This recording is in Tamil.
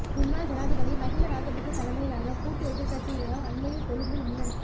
முன்னாள் ஜனாதிபதி மஹிந்த ராஜபக்ச தலைமையிலான கூட்டு எதிர்கட்சியினரால் அண்மையில் கொழும்பில் முன்னெடுக்